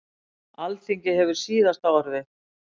Alþingi hefur síðasta orðið